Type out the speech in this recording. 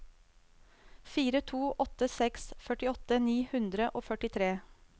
fire to åtte seks førtiåtte ni hundre og førtitre